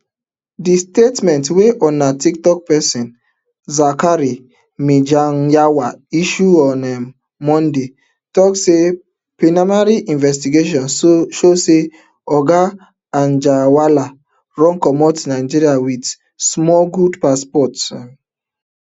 di statement wey una toktok pesin zakari mijinyawa issue on um monday tok say preliminary investigation show say oga anjarwalla run comot nigeria wit smuggled passport um